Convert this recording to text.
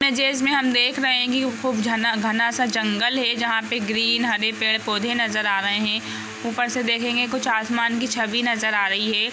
Images में हम देख रहे हैं कि खूब झना घना-सा जंगल है जहां पे ग्रीन हरे पेड़-पौधे नजर आ रहे हैं| ऊपर से देखेंगे कुछ आसमान की छवि नजर आ रही है।